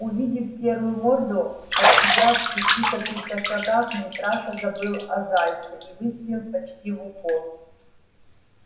увидев серую морду от тебя в пяти каких-то шагах митраша забыл о зайце и выстрелил почти в упор